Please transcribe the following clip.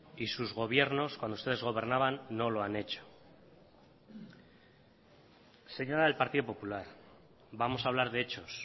y sus gobiernos cuando ustedes gobernaban no lo han hecho señora del partido popular vamos a hablar de hechos